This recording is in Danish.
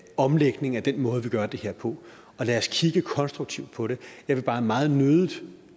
omlægning af den måde vi gør det her på og lad os kigge konstruktivt på det jeg vil bare meget nødig